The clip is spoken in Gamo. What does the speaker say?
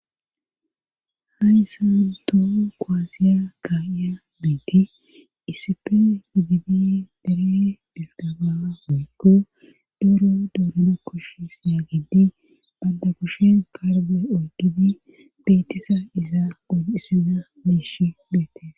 hayssanto qoasiya ka7iya biiti isip figidi dere dhilgaba miikgo doro dudulo kosh sina giddi adda kushen parge ogibi beetesa izaa qon issida miish beete